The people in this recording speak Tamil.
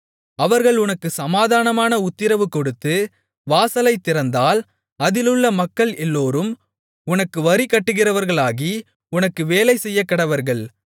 அவர்கள் உனக்குச் சமாதானமான உத்திரவு கொடுத்து வாசலைத் திறந்தால் அதிலுள்ள மக்கள் எல்லோரும் உனக்கு வரி கட்டுகிறவர்களாகி உனக்கு வேலை செய்யக்கடவர்கள்